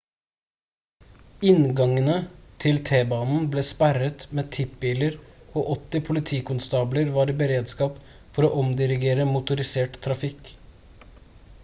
inngangene til t-banen ble sperret med tippbiler og 80 politikonstabler var i beredskap for å omdirigere motorisert trafikk